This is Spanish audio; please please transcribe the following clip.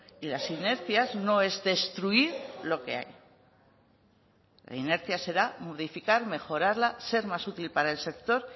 y las inercias no es destruir lo que hay la inercia será modificar mejorarla ser más útil para el sector